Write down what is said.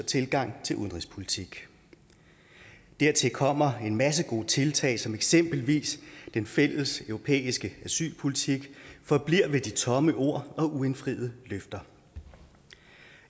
tilgang til udenrigspolitik dertil kommer at en masse gode tiltag som eksempelvis den fælles europæiske asylpolitik forbliver ved de tomme ord og uindfriede løfter